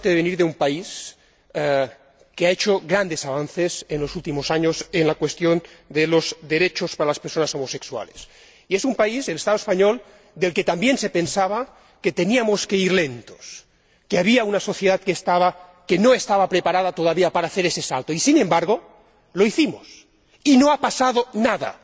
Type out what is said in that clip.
Señora Presidenta, tengo la suerte de venir de un país que ha hecho grandes avances en los últimos años en la cuestión de los derechos para las personas homosexuales. Y es un país, el Estado español, del que también se pensaba que tenía que ir lentamente, que había una sociedad que no estaba preparada todavía para dar ese salto y, sin embargo, lo dimos, y no ha pasado nada.